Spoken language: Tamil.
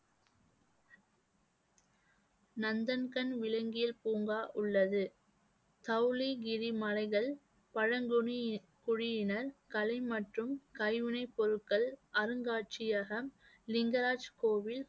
நந்தன் கண் விலங்கியல் பூங்கா உள்ளது. சவுளிகிரி மலைகள், பழங்குனி குடியி~ குடியினர், கலை மற்றும் கைவினைப் பொருட்கள் அருங்காட்சியகம், லிங்கராஜ் கோவில்,